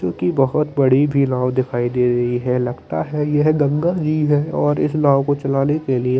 क्युकी बहुत बड़ी भी नाव दिखाई दे रही है लगता हैं यह गंगा जी है और इस नाव को चलाने के लिए--